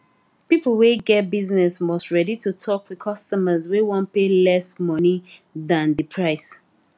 people wey get business must ready to talk with customers wey wan pay less monie dan di price